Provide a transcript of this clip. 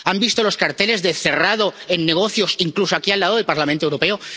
¿Han visto los carteles de cerrado en negocios, incluso aquí al lado del Parlamento Europeo?